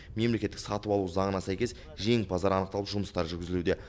мемлекеттік сатып алу заңына сәйкес жеңімпаздар анықталып жұмыстар жүргізілуде